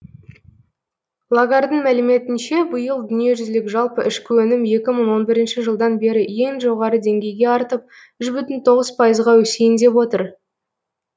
лагардың мәліметінше биыл дүниежүзілік жалпы ішкі өнім екі мың он бірінші жылдан бері ең жоғары деңгейге артып үш бүтін тоғыз пайызға өсейін деп отыр